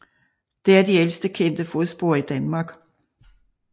Det er de ældste kendte fodspor i Danmark